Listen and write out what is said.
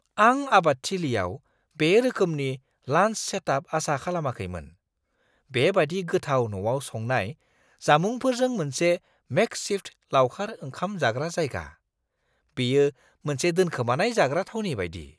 आं आबादथिलियाव बे रोखोमनि लान्स सेटआप आसा खालामाखैमोन - बेबादि गोथाव न'आव संनाय जामुंफोरजों मोनसे मेकसिफ्ट लावखार ओंखाम जाग्रा जायगा! बेयो मोनसे दोनखोमानाय जाग्रा थावनि बायदि!